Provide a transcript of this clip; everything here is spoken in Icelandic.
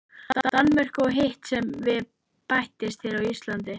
Danmörku og hitt sem við bættist hér á landi.